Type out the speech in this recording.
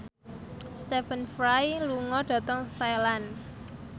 Stephen Fry lunga dhateng Thailand